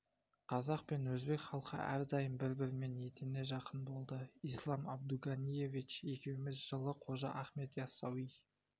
қазақ пен өзбек халқы әрдайым бір-бірімен етене жақын болды ислам абдуганиевич екеуміз жылы қожа ахмет иасауи